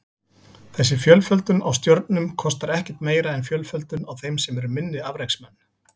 Þessi fjölföldun á stjörnum kostar ekkert meira en fjölföldun á þeim sem eru minni afreksmenn.